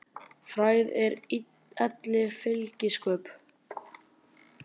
Frægð er elli fylgispök.